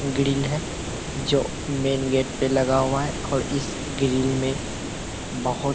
grill है जो main gate पे लगा हुआ है और इस ग्रिल में बहुत --